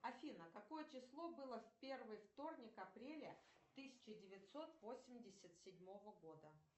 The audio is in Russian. афина какое число было в первый вторник апреля тысяча девятьсот восемьдесят седьмого года